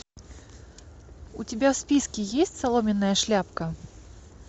у тебя в списке есть соломенная шляпка